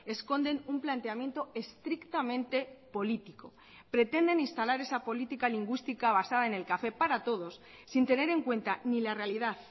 esconden un planteamiento estrictamente político pretenden instalar esa política lingüística basada en el café para todos sin tener en cuenta ni la realidad